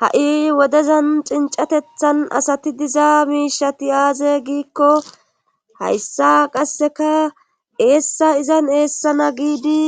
Ha'i wodezan cincatethan asati diza miishati aaze giikko hayssa qasseka eessa izan eessana giidi